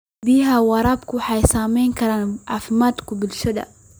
Biyaha waraabku waxay saamayn karaan caafimaadka bulshada.